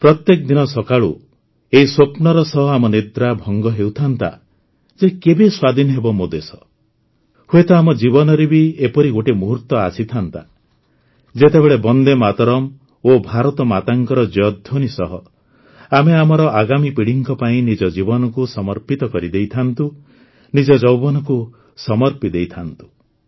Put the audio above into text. ପ୍ରତ୍ୟେକ ଦିନ ସକାଳୁ ଏହି ସ୍ୱପ୍ନର ସହ ଆମ ନିଦ୍ରା ଭଙ୍ଗ ହେଉଥାଆନ୍ତା ଯେ କେବେ ସ୍ୱାଧୀନ ହେବ ମୋ ଦେଶ ହୁଏତ ଆମ ଜୀବନରେ ବି ଏପରି ଗୋଟିଏ ମୁହୂର୍ତ୍ତ ଆସିଥାଆନ୍ତା ଯେତେବେଳେ ବନ୍ଦେ ମାତରମ୍ ଓ ଭାରତମାତାଙ୍କର ଜୟ ଧ୍ୱନି ସହ ଆମେ ଆମର ଆଗାମୀ ପିଢ଼ିଙ୍କ ପାଇଁ ନିଜ ଜୀବନକୁ ସମର୍ପିତ କରିଦେଇଥାଆନ୍ତୁ ନିଜ ଯୌବନକୁ ସମର୍ପି ଦେଇଥାଆନ୍ତୁ